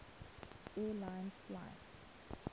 air lines flight